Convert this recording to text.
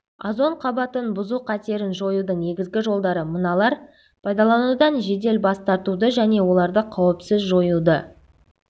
озон қабатын бұзу қатерін жоюдың негізгі жолдары мыналар пайдаланудан жедел бас тартуды және оларды қауіпсіз жоюды